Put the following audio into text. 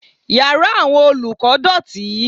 Yàrá àwọn olùkọ́ dọ̀tí.